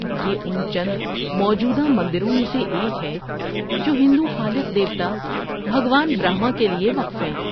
یہ ان چند موجودہ مندروں میں سے ایک ہے جو ہندو خالق دیوتا، بھگوان برہما، کے لیے وقف ہیں۔